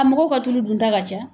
A mɔgɔw ka tulu dunta ka ca.